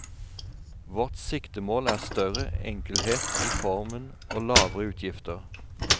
Vårt siktemål er større enkelhet i formen og lavere utgifter.